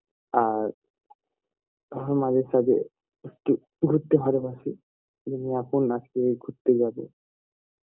আর মাঝে সাজে একটু ঘুরতে ভালো বাসি যেমন এখন আজকে আমি ঘুরতে যাবো